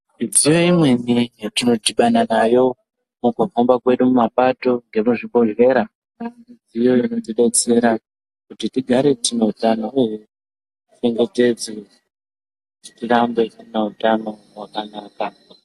Midziyo imweni yatinodhibana nayo mukuhamba kwedu mumapato nemuzvibhehlera inotidetsera kuti tigare tineutano uye tichengetedzwe tirambe tine utano hwakanaka.